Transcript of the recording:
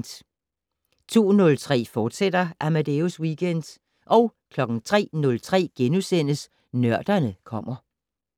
02:03: Amadeus Weekend, fortsat 03:03: Nørderne kommer *